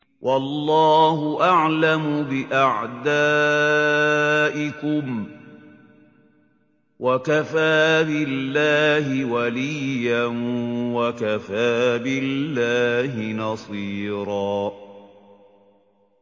وَاللَّهُ أَعْلَمُ بِأَعْدَائِكُمْ ۚ وَكَفَىٰ بِاللَّهِ وَلِيًّا وَكَفَىٰ بِاللَّهِ نَصِيرًا